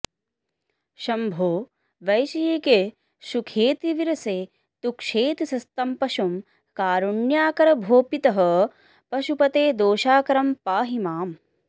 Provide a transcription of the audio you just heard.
शम्भो वैषयिके सुखेऽतिविरसे तुच्छेऽतिसक्तं पशुं कारुण्याकर भो पितः पशुपते दोषाकरं पाहि माम्